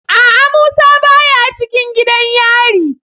A'a musa baya cikin gidan yari.